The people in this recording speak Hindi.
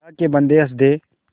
अल्लाह के बन्दे हंस दे